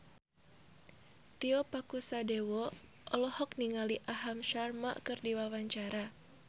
Tio Pakusadewo olohok ningali Aham Sharma keur diwawancara